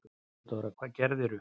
THEODÓRA: Hvað gerðirðu?